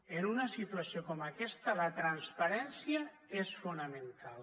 en una situació com aquesta la transparència és fonamental